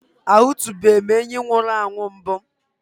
Ahụtụbeghị m enyí nwụrụ anwụ mbụ.